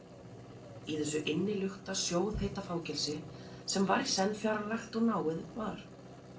Í þessu innilukta, sjóðheita fangelsi, sem var í senn fjarlægt og náið, var